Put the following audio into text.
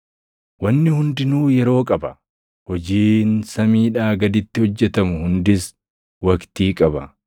Wanni hundinuu yeroo qaba; hojiin samiidhaa gaditti hojjetamu hundis waqtii qaba: